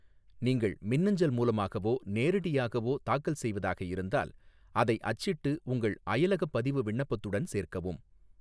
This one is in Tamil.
நீங்கள் மின்னஞ்சல் மூலமாகவோ நேரடியாகவோ தாக்கல் செய்வதாக இருந்தால், அதை அச்சிட்டு உங்கள் அயலகப் பதிவு விண்ணப்பத்துடன் சேர்க்கவும்.